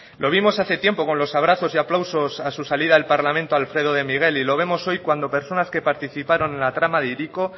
lo vimos hace tiempo con los abrazos y aplausos a su salida del parlamento a alfredo de miguel y lo vemos hoy cuando personas que participaron en la trama de hiriko